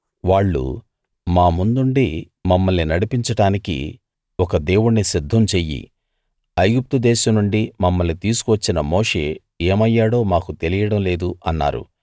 వాళ్ళు మా ముందుండి మమ్మల్ని నడిపించడానికి ఒక దేవుణ్ణి సిద్ధం చెయ్యి ఐగుప్తు దేశం నుండి మమ్మల్ని తీసుకు వచ్చిన మోషే ఏమయ్యాడో మాకు తెలియడం లేదు అన్నారు